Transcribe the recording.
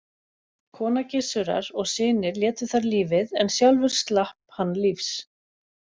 Kona Gissurar og synir létu þar lífið en sjálfur slapp hann lífs.